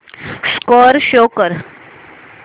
score show कर